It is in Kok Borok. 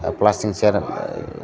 o plastic ni chair rok.